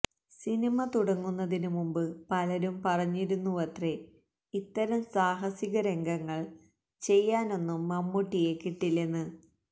സനിമ തുടങ്ങുന്നതിന് മുമ്പ് പലരും പറഞ്ഞിരുന്നുവത്രെ ഇത്തരം സാഹസിക രംഗങ്ങള് ചെയ്യാനൊന്നും മമ്മൂട്ടിയെ കിട്ടില്ലെന്ന്